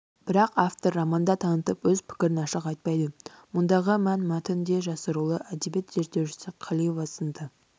бірақ автор романда танытып өз пікірін ашық айтпайды мұндағы мән мәтін де жасырулы әдебиет зерттеушісі қалиева сынды